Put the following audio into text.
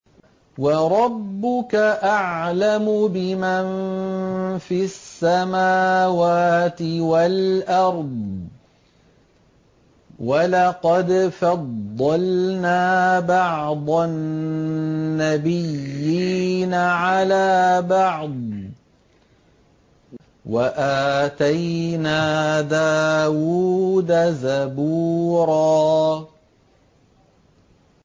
وَرَبُّكَ أَعْلَمُ بِمَن فِي السَّمَاوَاتِ وَالْأَرْضِ ۗ وَلَقَدْ فَضَّلْنَا بَعْضَ النَّبِيِّينَ عَلَىٰ بَعْضٍ ۖ وَآتَيْنَا دَاوُودَ زَبُورًا